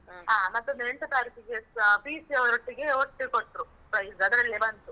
ಹ. ಮತ್ತೊಂದು ಎಂಟ್ನೇ ತಾರೀಖಿಗೇಸ PUC ಯವರೊಟ್ಟಿಗೆ ಒಟ್ಟು ಕೊಟ್ರು, prize ಅದರಲ್ಲಿಯೇ ಬಂತು.